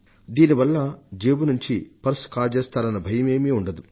దీనివల్ల జేబు నుంచి పర్స్ కాజేస్తారన్న భయమే ఉండదు